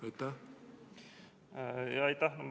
Aitäh!